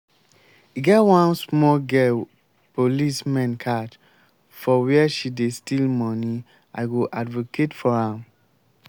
e get one small girl police men catch for where she dey steal money i go advocate for am